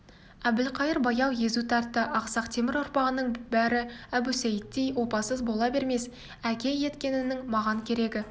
әбілқайыр баяу езу тартты ақсақ темір ұрпағының бәрі әбусейіттей опасыз бола бермес әке еткеніңнің маған керегі